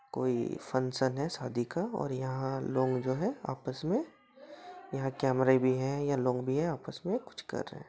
कोई फंगक्शन है शादी का और यहां लोग जो है आपस में यहां कैमरे भी है यहां लोग भी है आपस मे कुछ कर रहे है।